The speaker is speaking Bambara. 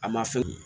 A ma fɛn kɛ